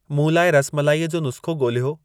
मूं लाइ रसमलाई जो नुस्ख़ो ॻोल्हियो